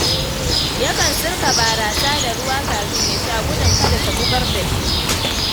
Yakan sirka barasa da ruwa kafin ya sha gudun kada ta bugar da shi.